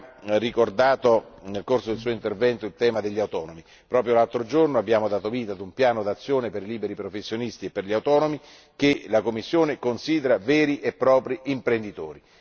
Rübig ha ricordato, nel corso del suo intervento, il tema dei lavoratori autonomi. Proprio l'altro giorno abbiamo dato vita a un piano d'azione per i liberi professionisti e i lavoratori autonomi, che la Commissione considera veri e propri imprenditori.